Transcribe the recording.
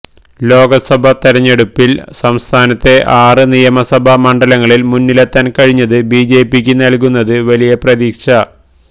ലോക്സഭാ തെരഞ്ഞെടുപ്പില് സംസ്ഥാനത്തെ ആറ് നിയമസഭാ മണ്ഡലങ്ങളില് മുന്നിലെത്താന് കഴിഞ്ഞത് ബിജെപിയ്ക്ക് നല്കുന്നത് വലിയ പ്രതീക്ഷ